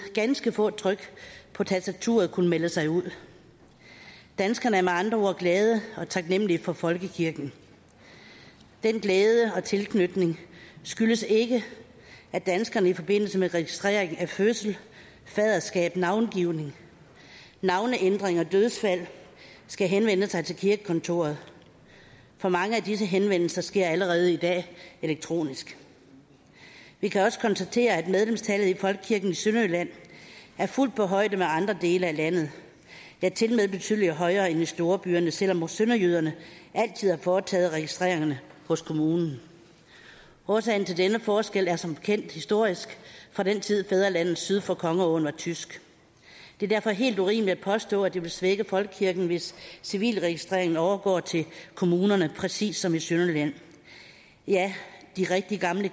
ganske få tryk på tastaturet kunne melde sig ud danskerne er med andre ord glade og taknemlige for folkekirken den glæde og tilknytning skyldes ikke at danskerne i forbindelse med registrering af fødsel faderskab navngivning navneændring og dødsfald skal henvende sig til kirkekontoret for mange af disse henvendelser sker allerede i dag elektronisk vi kan også konstatere at medlemstallet i folkekirken i sønderjylland er fuldt på højde med andre dele af landet ja tilmed betydelig højere end i storbyerne selv om sønderjyderne altid har foretaget registreringerne hos kommunen årsagen til denne forskel er som bekendt historisk fra den tid fædrelandet syd for kongeåen var tysk det er derfor helt urimeligt at påstå at det vil svække folkekirken hvis civilregistreringen overgår til kommunerne præcis som i sønderjylland ja de rigtig gamle